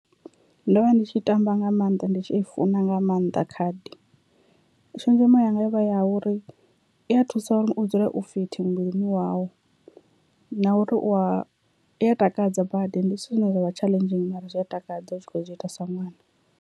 Ndo vha ndi tshi tamba nga maanḓa ndi tshi i funa nga maanḓa khadi, tshenzhemo yanga yo vha i ya uri i a thusa uri u dzule u fit muvhilini wau na uri u a i a takadza badi ndi zwithu zwine zwa vha tshaḽenzhi mara zwi a takadza u tshi kho zwi ita sa ṅwana.